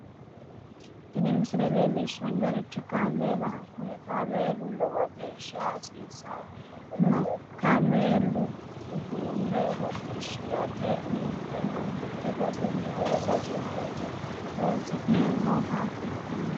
tini misile leellishshannorichi kaameelaho kuni kaameelino lowo geeshsha hasiisanno kaameelu uduunne hodhisirate ninkeno mitte basenni wole base harate horoonsi'neemmoha ikkanno.